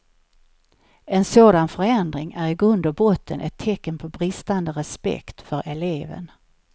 En sådan förändring är i grund och botten ett tecken på bristande respekt för eleven.